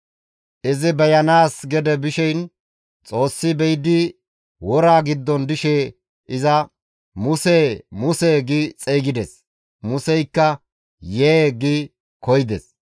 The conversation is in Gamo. Izi beyanaas gede bishin Xoossi be7idi woraa giddon dishe iza, «Musee! Musee!» gi xeygides. Museykka, «Yee!» gi koyides.